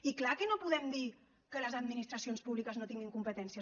i clar que no podem dir que les administracions públiques no tinguin competències